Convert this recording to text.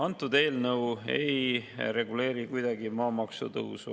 Antud eelnõu ei reguleeri kuidagi maamaksu tõusu.